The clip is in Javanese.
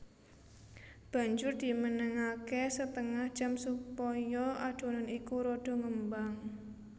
Banjur dimenengake setengah jam supaya adonan iku rada ngembang